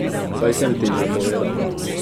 Saj sem ti že povedal.